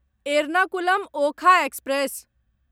Ernakulam Okha express